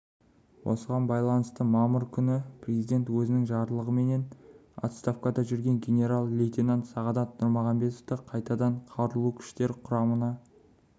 осыған байланысты мамыр күні президент өзінің жарлығыменен отставкада жүрген генерал-лейтенант сағадат нұрмағанбетовты қайтадан қарулы күштер құрамына